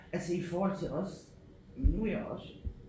Altså i forhold til også nu er jeg også